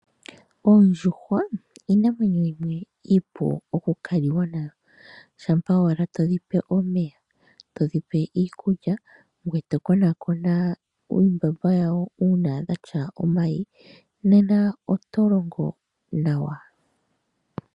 Oondjuhwa iinamwenyo yimwe iipu okukaliwa nayo, shampa owala todhi pe omeya, todhi pe iikulya ngwee to konaakona uumbamba yawo uuna dhatya omayi, nena oto longo nawa.